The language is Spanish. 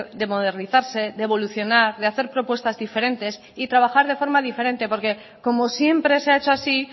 de modernizarse de evolucionar de hacer propuestas diferentes y trabajar de forma diferente porque como siempre se ha hecho así